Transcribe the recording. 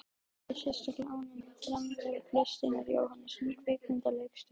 Forseti er sérstaklega ánægð með framlag Kristínar Jóhannesdóttur kvikmyndaleikstjóra.